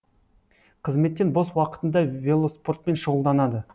қызметтен бос уақытында велоспортпен шұғылданады